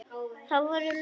Það voru lóur.